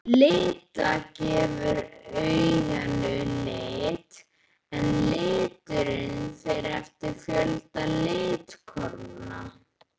Lita gefur auganu lit en liturinn fer eftir fjölda litkorna.